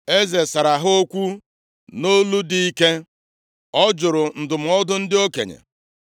Eze sara ha okwu nʼolu dị ike. Ọ jụrụ ndụmọdụ ndị okenye